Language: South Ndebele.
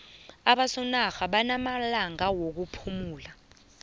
abosondarha namalanga wokuphumula